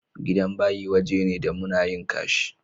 Gidan bayi waje ne da muna yin ƙashi.